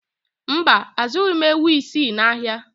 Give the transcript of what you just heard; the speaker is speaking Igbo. Mba, azụghị m ewu isii n'ahịa